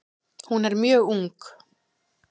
Hún er mjög ung.